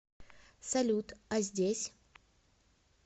салют а здесь